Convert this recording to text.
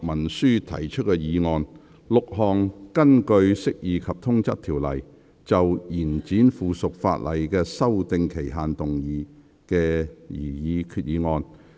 6項根據《釋義及通則條例》，就延展附屬法例的修訂期限動議的擬議決議案。